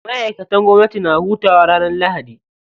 Ma'aikatan gwamnati na hutawa ranar lahadi.